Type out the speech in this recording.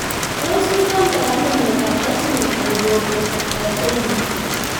Tos kinamdoi ano miondop X linked hypophosphatemia.